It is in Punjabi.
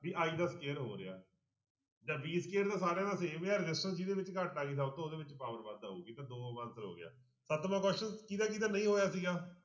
ਵੀ i ਦਾ square ਹੋ ਰਿਹਾ ਜਾਂ v square ਤਾਂ ਸਾਰਿਆਂ ਦਾ same ਹੀ ਹੈ resistance ਜਿਹਦੇ ਵਿੱਚ ਘੱਟ ਆ ਗਈ ਸਭ ਤੋਂ ਉਹਦੇ ਵਿੱਚ power ਵੱਧ ਆਊਗੀ ਤਾਂ ਦੋ answer ਹੋ ਗਿਆ ਸਤਵਾਂ question ਕਿਹਦਾ ਕਿਹਦਾ ਨਹੀਂ ਹੋਇਆ ਸੀਗਾ।